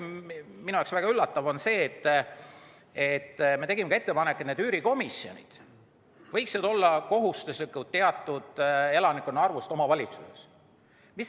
Minu jaoks on väga üllatav, et me tegime ka ettepaneku, et üürikomisjonid võiksid olla kohustuslikud alates teatud elanike arvust omavalitsuses.